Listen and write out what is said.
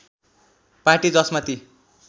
party जसमा ती